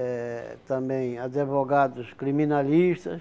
eh também advogados criminalistas.